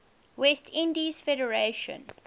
west indies federation